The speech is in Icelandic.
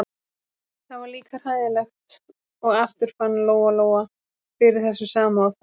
Það var líka hræðilegt og aftur fann Lóa-Lóa fyrir þessu sama og þá.